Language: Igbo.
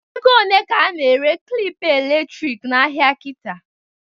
Ego one ka a na-ere klịp elektrik n'ahịa kịta?